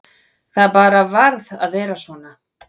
Það bara varð að vera svo.